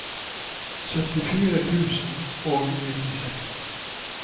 syttifire tusen og nittiseks